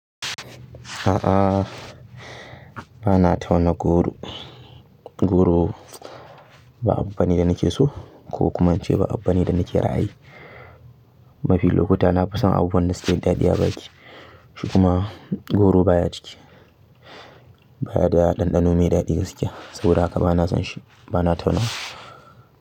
A'a, ba na tauna goro. Goro ba abu bane da nake so ko kuma ince ba abu bane da nake ra'ayi. Mafi lokuta na fi son abubuwan da suke da daɗi a baki. Shi kuma goro baya ciki, baya da ɗanɗano mai daɗi gaskiya saboda haka ba na son shi, ba na tauna.